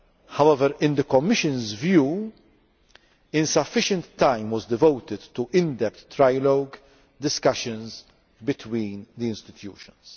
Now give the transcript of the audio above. However, in the Commission's view, insufficient time was devoted to in depth trialogue discussions between the institutions.